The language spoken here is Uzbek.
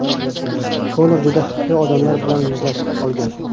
Konor juda xavfli odamlar bilan yuzlashib qolgan.